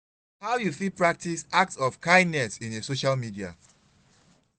how you fit practice acts of kindness in a social media?